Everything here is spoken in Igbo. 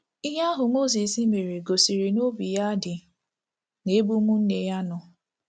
Ihe ahụ Mozis mere gosiri na obi ya dị n’ebe ụmụnne ya nọ.